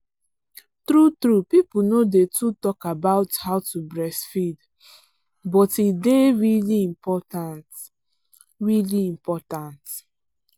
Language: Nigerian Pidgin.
true truepeople no day too talk about how to breastfeed but e day really important really important